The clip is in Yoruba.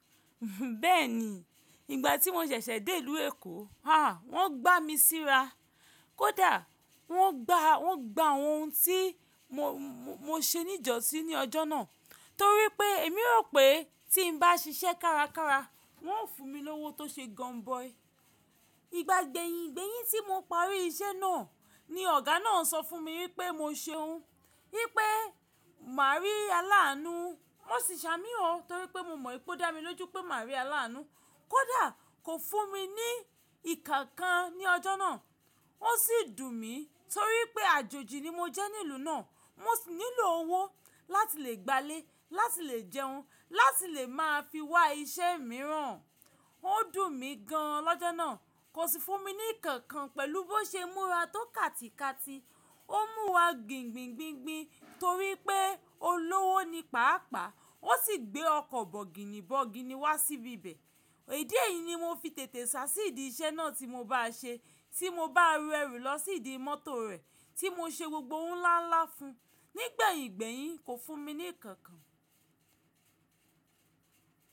Bẹ́ẹ̀ni, ìgbà tí mo ṣẹ̀ṣẹ̀ dé ìlú Èkó, ah wọ́n gbá mi síra. Kódà wọ́n gbá, wọ́n gba ohun tí mo, mo ṣe níjọ́sí ní ọjọ́ náà. Torí pé èmi rò pé tí n bá ṣiṣẹ́ kárakára wọ́n ó fún mi lówó tó ṣe gun boy. Ìgbà gbẹ̀yìn gbẹ̀yìn tí mo parí iṣẹ́ náà ni ọ̀gá náà sọ fún mi wípé mo ṣe ohun, wípé má rí alaanu. Wọ́n sì ṣamí ọ torí pé mo mọ ìpè dá mi lójú pé má rí alaanu. Kódà kò fún mi ní ìkankan ní ọjọ́ náà. Ó sì dùn mí torí pé àjòjì ni mo jẹ́ ní ìlú náà. Mo sì nílò owó láti lè gbálẹ̀, láti lè jẹun, láti lè máa fi wá iṣẹ́ mìíràn. Ó dùn mí gan an lọ́jọ́ náà. Kò sì fún mi ní ìkankan pẹ̀lú bó ṣe múra tó kàtìkàtì. Ó mú wa gbingbin gbingbin torí pé olówó ni pàápàá. Ó sì gbé ọkọ̀ bọ̀gìnì bọ̀gìnì wá síbi ibẹ̀. Èdí yìí ni mo fi tètè ṣá sí ìdí iṣẹ́ náà tí mo bá ṣe, tí mo bá rẹrù lọ sí ìdí mọ́tò rẹ̀ tí mo ṣe gbogbo ohun ńlá ńlá fún. Nígbẹ̀yìn gbẹ̀yìn kò fún mi ní ìkankan.